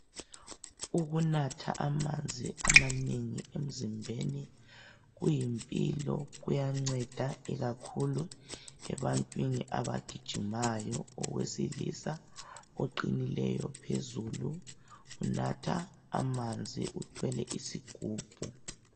Ukunatha amanzi amanengi emzimbeni kuyimpilo, kuyanceda kakhulu ebantwini abagijimayo. Owesilisa oqinileyo phezulu unatha amanzi, uthwele isigubhu.